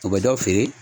O bɛ dɔ feere